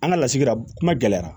An ka lasigira kuma gɛlɛyara